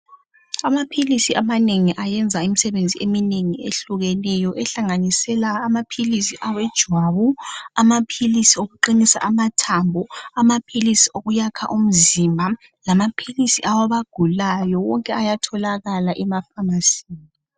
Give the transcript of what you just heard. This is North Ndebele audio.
Amaphilisi amanengi ayenza imisebenzi eminengi ehlukeneyo ehlanganisela amaphilisi ejwabu, amaphilisi okuqinisa amathambo, amaphilisi okuyakha umzimba lamaphilisi awabagulayo wonke ayatholakala emafamasini.